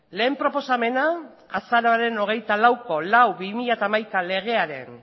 lehen proposamena azaroaren hogeita lauko lau barra bi mila hamaika legearen